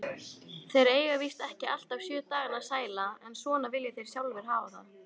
Þeir eiga víst ekki alltaf sjö dagana sæla, en svona vilja þeir sjálfir hafa það.